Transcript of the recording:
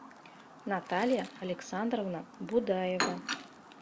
наталья александровна будаева